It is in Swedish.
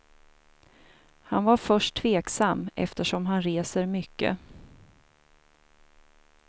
Han var först tveksam eftersom han reser mycket.